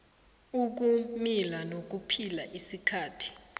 ukumila nokuphila isikhathi